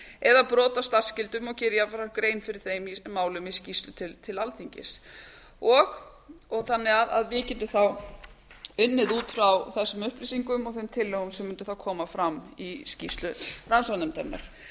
eða brot á starfsskyldum og gera jafnframt grein fyrir þeim málum í skýrslu til alþingis þannig að við getum þá unnið út frá þessum upplýsingum og þeim tillögum sem mundu þá koma fram í skýrslu rannsóknarnefndarinnar